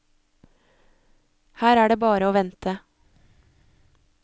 Her er det bare å vente.